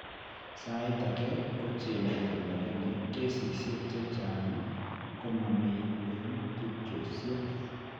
Saait ake kogenetic lakini kesisiek chechang' komamii eng' tubchosiek